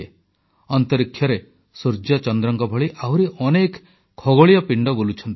ମହାକାଶରେ ସୂର୍ଯ୍ୟ ଚନ୍ଦ୍ରଙ୍କ ଭଳି ଆହୁରି ଅନେକ ଖଗୋଳୀୟ ପିଣ୍ଡ ବୁଲୁଛନ୍ତି